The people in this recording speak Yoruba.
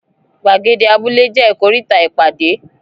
Gbàgede abúlé jẹ ikoríta ìpàdé.